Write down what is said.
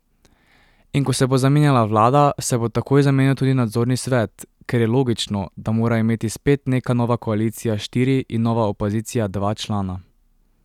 In ko se bo zamenjala vlada, se bo takoj zamenjal tudi nadzorni svet, ker je logično, da mora imeti spet neka nova koalicija štiri in nova opozicija dva člana.